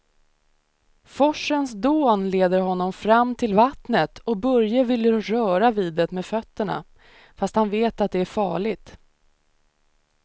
Forsens dån leder honom fram till vattnet och Börje vill röra vid det med fötterna, fast han vet att det är farligt.